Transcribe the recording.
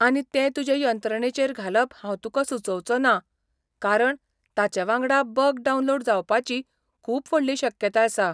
आनी तें तुजे यंत्रणेचेर घालप हांव तुका सुचोवचो ना कारण ताचे वांगडा बग डावनलोड जावपाची खूब व्हडली शक्यताय आसा.